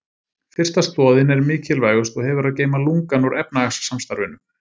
Fyrsta stoðin er mikilvægust og hefur að geyma lungann úr efnahagssamstarfinu.